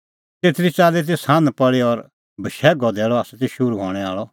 तेतरी च़ाल्ली ती सान्ह पल़ी और बशैघो धैल़अ त शुरू हणैं आल़अ